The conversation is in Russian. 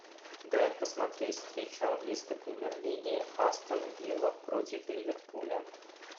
дай посмотреть встречу английской премьер лиги астон вилла против ливерпуля